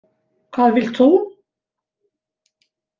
Hvað vilt þú?